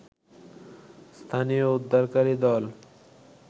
স্থানীয় উদ্ধারকারী দল